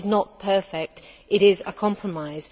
It is not perfect, it is a compromise.